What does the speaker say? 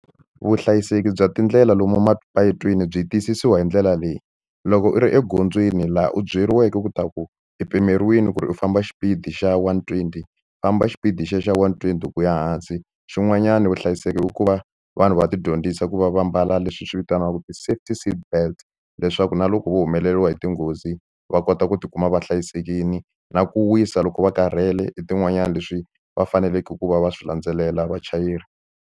Vuhlayiseki bya tindlela lomu mapatwini byi tiyisisiwa hi ndlela leyi loko u ri egondzweni laha u byeliweke ku ta ku i pimeriwile ku ri u famba xipidi xa one twenty famba xipidi xe xa one twenty ku ya hansi xin'wanyana vuhlayiseki i ku va vanhu va ti dyondzisa ku va va mbala leswi swi vitaniwaku ti-safety seatbelt leswaku na loko va humeleriwa hi tinghozi va kota ku ti kuma va hlayisekile na ku wisa loko va karhele i tin'wanyani leswi va faneleke ku va va swi landzelela vachayeri.